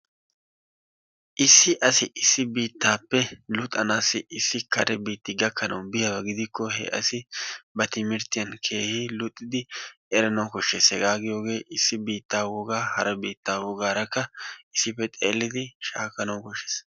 Issi asi issi biittaappe luxanaassi issi kare biitti gakkanawu biyaba gidikko he asi ba timirttiyan keehi luxidi eranawu koshshes. Hegaa giyogee issi biittaa wogaa hara biittaa wogaarakka issippe xeellidi shaakkanawu koshshes.